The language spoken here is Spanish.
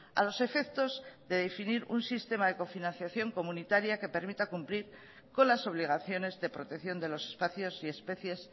a los efectos de definir un sistema de cofinanciación comunitaria que permita cumplir con las obligaciones de protección de los espacios y especies